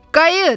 Qayıt!